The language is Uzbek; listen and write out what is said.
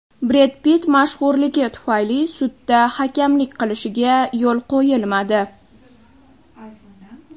Bred Pitt mashhurligi tufayli sudda hakamlik qilishiga yo‘l qo‘yilmadi.